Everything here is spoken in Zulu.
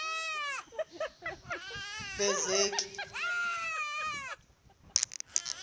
bezeki